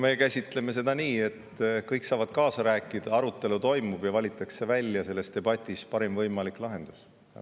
Me käsitleme seda nii, et kõik saavad kaasa rääkida, arutelu toimub ja valitakse välja selles debatis parim võimalik lahendus.